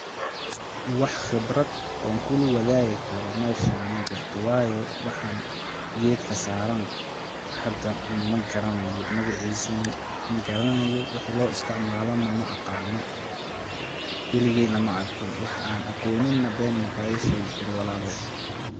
Wax khibrat oon kula wadaagi karo meshani majirto waayo waxa gedka saaran hada ma garanayo magaciisa nah ma garanayo waxi loo isticmaalo nah maaqaano weligey nah ma arkin waxaan aqoonin nah been makaaga sheegi karo walalow.